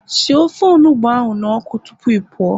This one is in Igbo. Sie ofe onugbu ahu n'oku tupu ị pụọ